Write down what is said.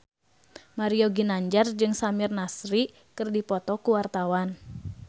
Mario Ginanjar jeung Samir Nasri keur dipoto ku wartawan